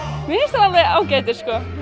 alveg ágætir